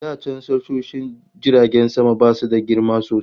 Da can tashoshin jiragen sama basu da girma sosai